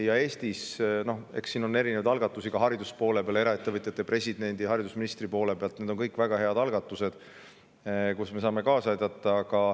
Ja Eestis on erinevaid algatusi hariduse valdkonnas, eraettevõtjad, president ja haridusminister on teinud, need on väga head algatused ja me saame kaasa aidata.